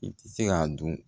I tɛ se k'a dun